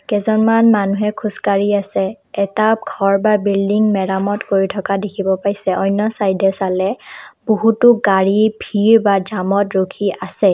কেজনমান মানুহে খোজ কাঢ়ি আছে এটা ঘৰ বা বিল্ডিং মেৰামত কৰি থকা দেখিব পাইছে অন্য ছাইডে চালে বহুতো গাড়ী ভিৰ বা জামত ৰখি আছে ।